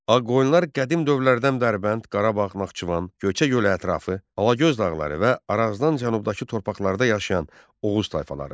Ağqoyunlular qədim dövrlərdən Dərbənd, Qarabağ, Naxçıvan, Göyçə gölü ətrafı, Alagöz dağları və Arazdan cənubdakı torpaqlarda yaşayan Oğuz tayfalarıdır.